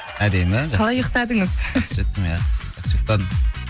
жақсы жеттім иә жақсы ұйқтадым